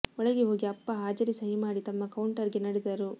ಒಳಗೆ ಹೋಗಿ ಅಪ್ಪ ಹಾಜರಿ ಸಹಿ ಮಾಡಿ ತಮ್ಮ ಕೌಂಟರ್ಗೆ ನಡೆದರು